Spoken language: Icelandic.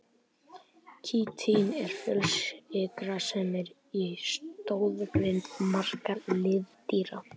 Kítín er fjölsykra sem er í stoðgrind margra liðdýra.